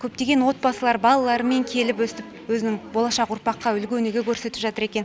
көптеген отбасылар балаларымен келіп өстіп өзінің болашақ ұрпаққа үлгі өнеге көрсетіп жатыр екен